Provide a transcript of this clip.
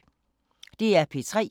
DR P3